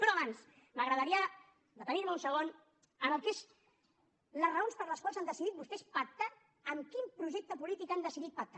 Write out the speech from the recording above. però abans m’agradaria detenir me un segon en el que són les raons per les quals han decidit vostès pactar amb quin projecte polític han decidit pactar